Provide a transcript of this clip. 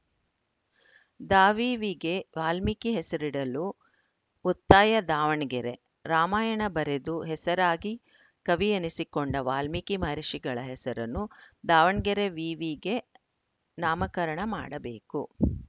ದಾವಿವಿಗೆ ವಾಲ್ಮೀಕಿ ಹೆಸರಿಡಲು ಒತ್ತಾಯ ದಾವಣಗೆರೆ ರಾಮಾಯಣ ಬರೆದು ಹೆಸರಾಗಿ ಕವಿ ಎನಿಸಿಕೊಂಡ ವಾಲ್ಮೀಕಿ ಮಹರ್ಷಿಗಳ ಹೆಸರನ್ನು ದಾವಣಗೆರೆ ವಿವಿಗೆ ನಾಮಕರಣ ಮಾಡಬೇಕು